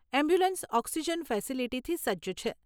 Ambulance oxygen ફેસીલીટીથી સજ્જ છે.